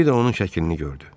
Bir də onun şəklini gördü.